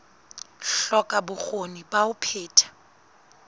hloka bokgoni ba ho phetha